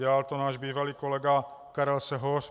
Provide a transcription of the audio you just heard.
Dělal to náš bývalý kolega Karel Sehoř.